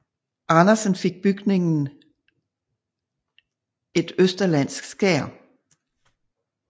Andersen fik bygningen et østerlandsk skær